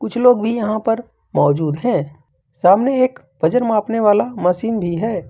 कुछ लोग भी यहां पर मौजूद है सामने एक वजन मापने वाला मशीन भी है।